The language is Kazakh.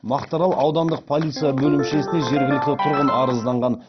мақтаарал аудандық полиция бөлімшесіне жергілікті тұрғын арызданған